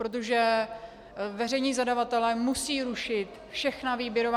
Protože veřejní zadavatelé musí rušit všechna výběrová...